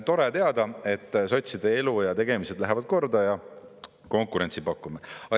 Tore teada, et sotside elu ja tegemised lähevad kordaja ja konkurentsi pakume.